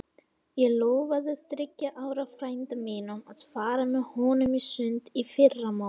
Ég lofaði þriggja ára frænda mínum að fara með honum í sund í fyrramálið.